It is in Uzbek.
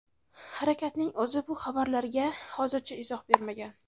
Harakatning o‘zi bu xabarlarga hozircha izoh bermagan.